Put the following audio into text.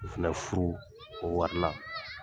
K'o fɛnɛ furu o wari na